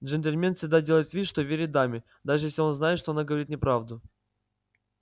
джентльмен всегда делает вид что верит даме даже если он знает что она говорит неправду